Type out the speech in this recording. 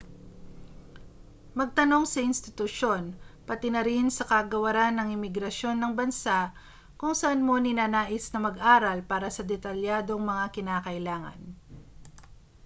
magtanong sa institusyon pati na rin sa kagawaran ng imigrasyon ng bansa kung saan mo ninanais na mag-aral para sa detalyadong mga kinakailangan